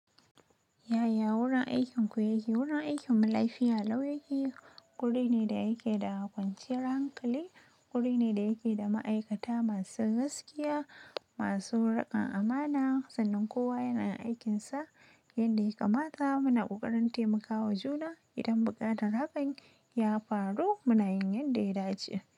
Yaya wurin aikinku yake? Wurin aikinmu lafiya lau yake. Guri ne da yake da kwanciyar hankali, guri ne da yake da ma'aikata masu gaskiya, masu riƙon amana. Sannan kowa yanayin aikin sa yanda yakamata. Muna ƙoƙarin taimakawa juna. Idan buƙatar hakan ya faru muna yin yanda ya dace.